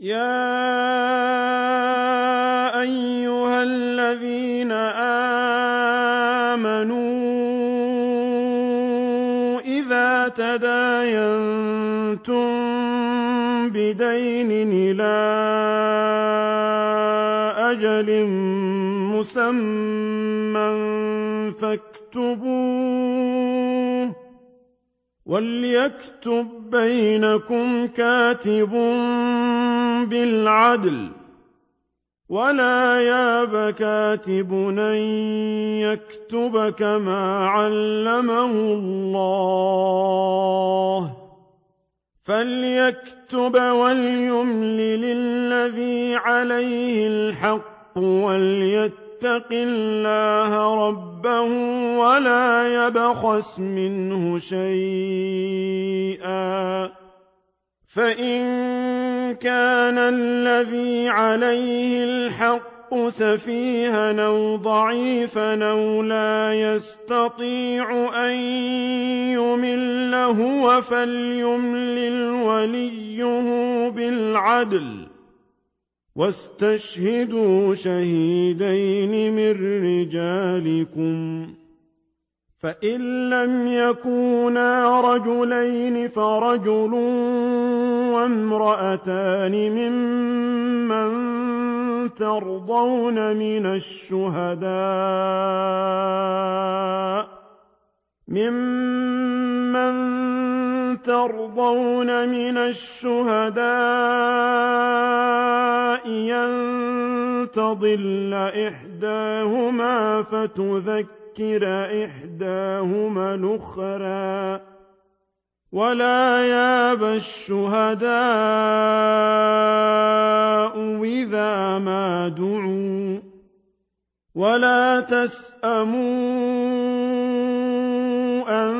يَا أَيُّهَا الَّذِينَ آمَنُوا إِذَا تَدَايَنتُم بِدَيْنٍ إِلَىٰ أَجَلٍ مُّسَمًّى فَاكْتُبُوهُ ۚ وَلْيَكْتُب بَّيْنَكُمْ كَاتِبٌ بِالْعَدْلِ ۚ وَلَا يَأْبَ كَاتِبٌ أَن يَكْتُبَ كَمَا عَلَّمَهُ اللَّهُ ۚ فَلْيَكْتُبْ وَلْيُمْلِلِ الَّذِي عَلَيْهِ الْحَقُّ وَلْيَتَّقِ اللَّهَ رَبَّهُ وَلَا يَبْخَسْ مِنْهُ شَيْئًا ۚ فَإِن كَانَ الَّذِي عَلَيْهِ الْحَقُّ سَفِيهًا أَوْ ضَعِيفًا أَوْ لَا يَسْتَطِيعُ أَن يُمِلَّ هُوَ فَلْيُمْلِلْ وَلِيُّهُ بِالْعَدْلِ ۚ وَاسْتَشْهِدُوا شَهِيدَيْنِ مِن رِّجَالِكُمْ ۖ فَإِن لَّمْ يَكُونَا رَجُلَيْنِ فَرَجُلٌ وَامْرَأَتَانِ مِمَّن تَرْضَوْنَ مِنَ الشُّهَدَاءِ أَن تَضِلَّ إِحْدَاهُمَا فَتُذَكِّرَ إِحْدَاهُمَا الْأُخْرَىٰ ۚ وَلَا يَأْبَ الشُّهَدَاءُ إِذَا مَا دُعُوا ۚ وَلَا تَسْأَمُوا أَن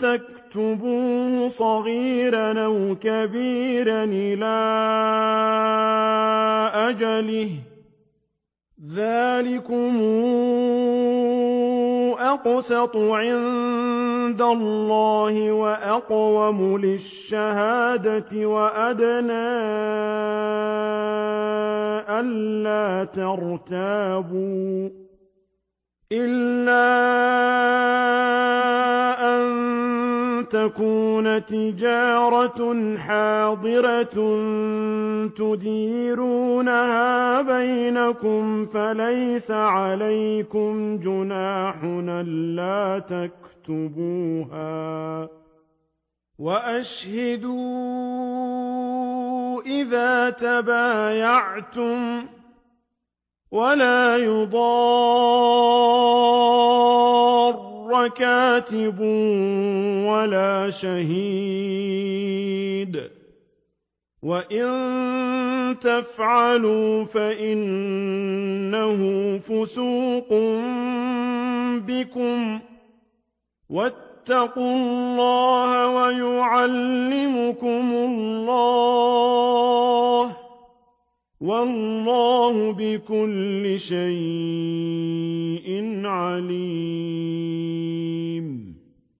تَكْتُبُوهُ صَغِيرًا أَوْ كَبِيرًا إِلَىٰ أَجَلِهِ ۚ ذَٰلِكُمْ أَقْسَطُ عِندَ اللَّهِ وَأَقْوَمُ لِلشَّهَادَةِ وَأَدْنَىٰ أَلَّا تَرْتَابُوا ۖ إِلَّا أَن تَكُونَ تِجَارَةً حَاضِرَةً تُدِيرُونَهَا بَيْنَكُمْ فَلَيْسَ عَلَيْكُمْ جُنَاحٌ أَلَّا تَكْتُبُوهَا ۗ وَأَشْهِدُوا إِذَا تَبَايَعْتُمْ ۚ وَلَا يُضَارَّ كَاتِبٌ وَلَا شَهِيدٌ ۚ وَإِن تَفْعَلُوا فَإِنَّهُ فُسُوقٌ بِكُمْ ۗ وَاتَّقُوا اللَّهَ ۖ وَيُعَلِّمُكُمُ اللَّهُ ۗ وَاللَّهُ بِكُلِّ شَيْءٍ عَلِيمٌ